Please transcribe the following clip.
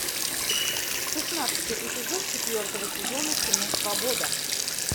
шестнадцатый эпизод четвертого сезона кино свобода